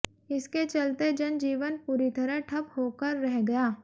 इसके चलते जनजीवन पूरी तरह ठप होकर रह गया